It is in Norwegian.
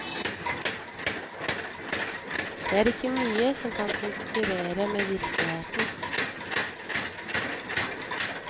Det er ikke mye som kan konkurrere med virkeligheten.